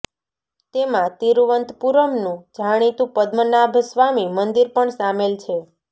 તેમાં તિરુવનંતપુરમનું જાણીતું પદ્મનાભ સ્વામી મંદિર પણ સામેલ છે